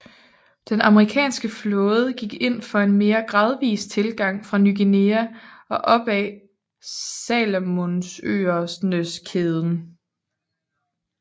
Den amerikanske flåde gik ind for en mere gradvis tilgang fra Ny Guinea og op ad Salomonøerneskæden